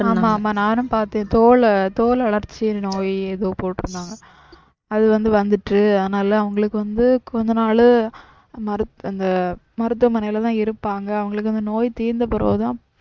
ஆமா ஆமா நானும் பாத்தேன் தோல் தோல் அலர்ச்சி நோய்னு ஏதோ போட்டிருந்தாங்க அது வந்து வந்துட்டு அதுனால அவங்களுக்கு வந்து கொஞ்ச நாளு மரு அந்த மருத்துவமனைலதான் இருப்பாங்க அவங்களுக்கு அந்த நோய் தீர்ந்த பிறகுதான்